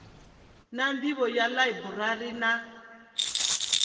na nḓivho ya ḽaiburari na